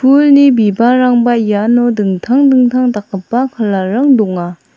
pulni bibalrangba iano dingtang dingtang dakgipa kalar rang donga.